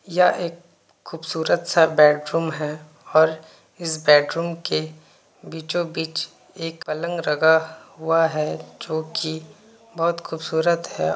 यह एक खूबसूरत सा बैडरूम है और इस बैडरूम के बीचो-बीच एक पलंग लगा हुआ है जो की बहुत खूबसूरत है।